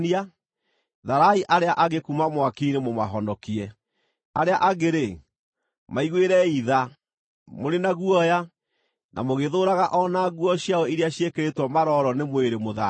tharai arĩa angĩ kuuma mwaki-inĩ mũmahonokie; arĩa angĩ-rĩ, maiguĩrei tha, mũrĩ na guoya, na mũgĩthũũraga o na nguo ciao iria ciĩkĩrĩtwo maroro nĩ mwĩrĩ mũthaahie.